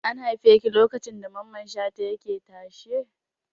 An haife ki lokacin da Mamman Shata yake tashe?